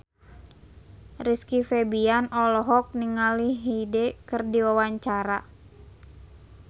Rizky Febian olohok ningali Hyde keur diwawancara